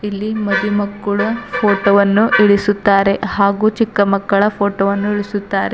ಇಲ್ಲಿ ಮದಿ ಮಕ್ಕಳು ಫೋಟೋ ವನ್ನು ಇಳಿಸುತ್ತಾರೆ ಹಾಗು ಚಿಕ್ಕ ಮಕ್ಕಳ ಫೋಟೋವನ್ನು ಇಳಿಸುತ್ತಾರೆ.